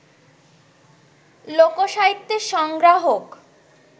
লোক-সাহিত্যের সংগ্রাহক